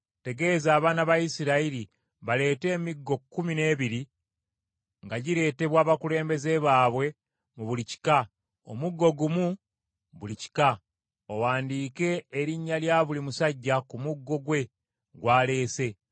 “Tegeeza abaana ba Isirayiri baleete emiggo kkumi n’ebiri nga gireetebwa abakulembeze baabwe mu buli kika, omuggo gumu buli kika. Owandiike erinnya lya buli musajja ku muggo gwe gw’aleese.